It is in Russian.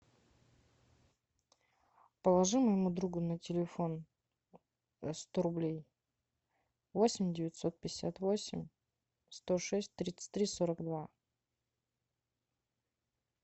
положи моему другу на телефон сто рублей восемь девятьсот пятьдесят восемь сто шесть тридцать три сорок два